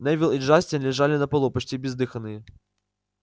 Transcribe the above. невилл и джастин лежали на полу почти бездыханные